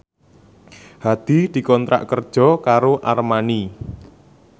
Hadi dikontrak kerja karo Armani